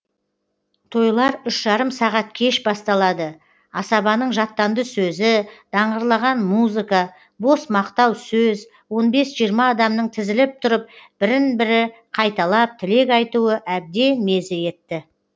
тойлар үш жарым сағат кеш басталады асабаның жаттанды сөзі даңғырлаған музыка бос мақтау сөз он бес жиырма адамның тізіліп тұрып бірін бірі қайталап тілек айтуы әбден мезі етті